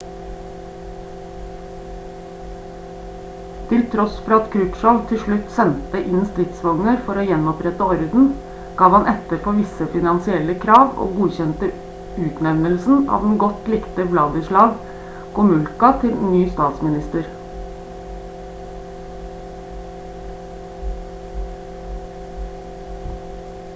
til tross for at krutsjov til slutt sendte inn stridsvogner for å gjenopprette orden gav han etter for visse finansielle krav og godkjente utnevnelsen av den godt likte wladyslaw gomulka til ny statsminister